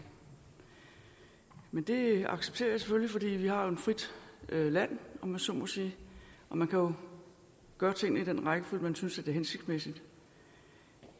men det accepterer jeg selvfølgelig fordi vi jo har et frit land om jeg så må sige og man kan gøre tingene i den rækkefølge man synes det er hensigtsmæssigt